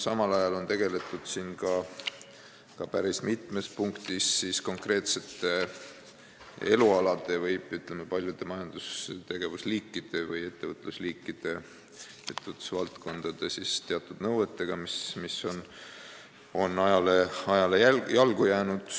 Samal ajal on päris mitmes punktis tegeletud konkreetsete elualade või, ütleme, paljude majandustegevus- või ettevõtlusliikide või ettevõtlusvaldkondade teatud nõuetega, mis on ajale jalgu jäänud.